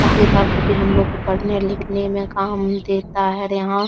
किताब कॉपी हम लोगों को पढ़ने लिखने में काम देता है और यहां --